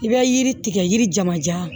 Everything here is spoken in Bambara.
I bɛ yiri tigɛ yiri jamanjan